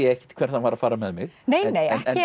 ekkert hvert hann var að fara með mig nei